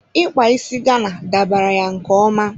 Ikpa isi Gana dabara ya nke ọma.